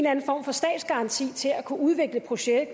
anden form for statsgaranti til at kunne udvikle projektet